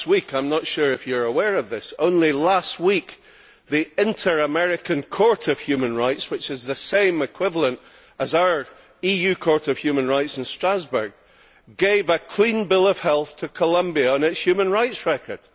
I am not sure if you are aware of this, but only last week the Inter American Court of Human Rights, which is the equivalent of the EU Court of Human Rights in Strasbourg, gave a clean bill of health to Colombia on its human rights record.